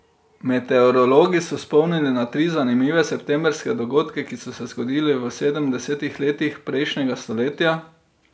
Meteorologi so spomnili na tri zanimive septembrske dogodke, ki so se zgodili v sedemdesetih letih prejšnjega stoletja.